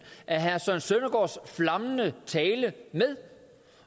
af herre søren søndergaards flammende tale med